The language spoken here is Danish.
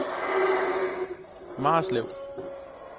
Marslev